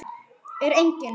Er enginn?